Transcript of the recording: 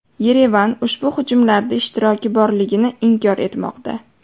Yerevan ushbu hujumlarda ishtiroki borligini inkor etmoqda.